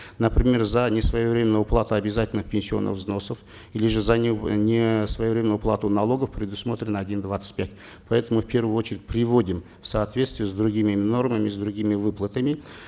например за несвоевременную уплату обязательных пенсионных взносов или же за несвоевременную уплату налогов предусмотрено один двадцать пять поэтому в первую очередь приводим в соответствие с другими нормами с другими выплатами